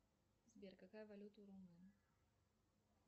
сбер какая валюта у румын